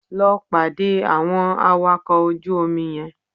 Lọ pàdé àwọn awakọ̀ ojú omi yẹn